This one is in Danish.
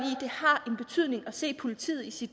i at se politiet i